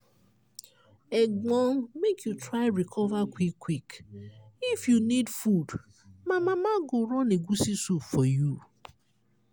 egbon make you try recover quick-quick! if you need food my mama go run egusi soup for you.